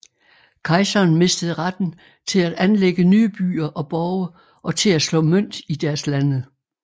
Kejseren mistede retten til at anlægge nye byer og borge og til at slå mønt i deres lande